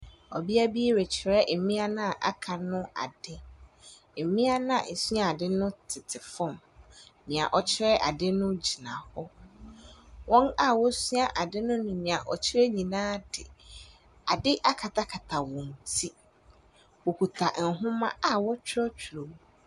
Ɔbea bi rekyerɛ mmea a wɔaka no ade. Mmeano a wɔresua ade no tete fam. Nea ɔrekyerɛ ade no gyina hɔ. Wɔn a wɔresua ade no ne nea ɔrekyerɛ nyinaa de ade akatakata wɔn ti. Wɔkuta nhoma a wɔrekyerɛwkyerɛw mu.